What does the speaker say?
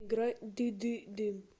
играй ды ды дым